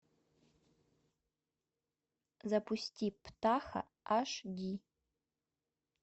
запусти птаха аш ди